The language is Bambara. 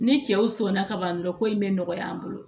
Ni cɛw sɔnna ka ban dɔrɔn ko in bɛ nɔgɔya an bolo